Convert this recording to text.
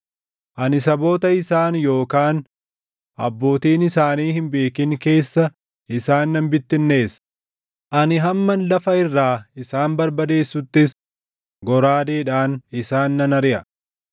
Ani saboota isaan yookaan abbootiin isaanii hin beekin keessa isaan nan bittinneessa; ani hamman lafa irraa isaan barbadeessuttis goraadeedhaan isaan nan ariʼa.”